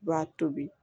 I b'a tobi